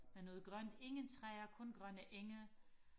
med noget grønt ingen træer kun grønne enge